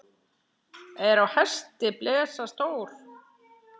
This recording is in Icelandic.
Er á hesti blesa stór.